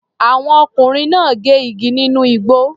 Àwọn ọkùnrin náà gé igi nínú igbó.